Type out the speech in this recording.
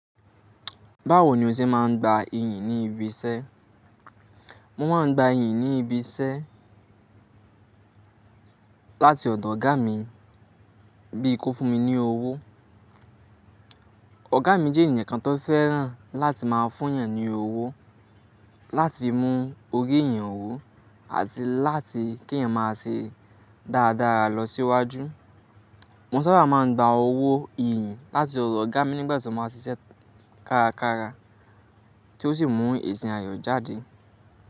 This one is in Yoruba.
Báwo ni o ṣe máa ń gba iyì ní ibi iṣẹ́? Mo máa ń gba iyì ní ibi iṣẹ́ láti ọ̀dọ̀ ọ̀gá mi bíi kó fún mi ní owó. Ọ̀gá mi jẹ́ ènìyàn kan tó fẹ́ràn láti máa fún èèyàn ní owó láti mú orí èèyàn wú àti láti kí èèyàn máa ṣe dáradára lọ síwájú. Mo sábà máa ń gba owó iyìn láti ọ̀dọ̀ ọ̀gá mi nígbà tí mo máa ṣiṣẹ́ kárakára tí ó sì mú èsì àyò jáde.